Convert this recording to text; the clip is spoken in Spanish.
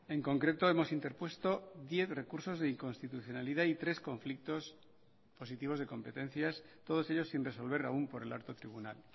en concreto hemos interpuesto diez recursos de inconstitucionalidad y tres conflictos positivos de competencias todos ellos sin resolver aún por el alto tribunal